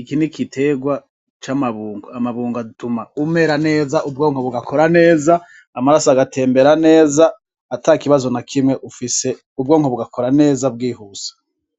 iki ni igiterwa c'amabungo. Amabungo atuma umera neza, ubwonko bugakora neza, amaraso agatembera neza, ata kibazo na kimwe ufise, ubwonko bugakora neza bwihuse.